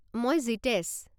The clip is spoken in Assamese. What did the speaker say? মই জীতেশ।